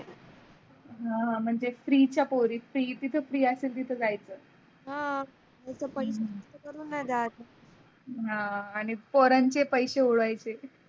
हा म्हणजे जे free चा पोरी जिथे free असतात तिथ जायच. हां आणी पोरांचे पेशे उडवायचे.